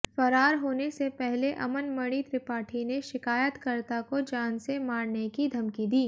फरार होने से पहले अमनमणि त्रिपाठी ने शिकायतकर्ता को जान से मारने की धमकी दी